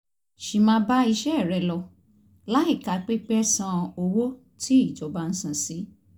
sì máa bá iṣẹ́ rẹ lọ láìka pípẹ́ san owó tí ìjọba ń san sí